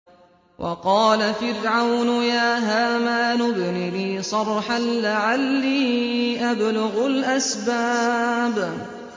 وَقَالَ فِرْعَوْنُ يَا هَامَانُ ابْنِ لِي صَرْحًا لَّعَلِّي أَبْلُغُ الْأَسْبَابَ